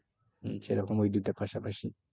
হম সেরকম ওই দুইটা পাশাপাশি।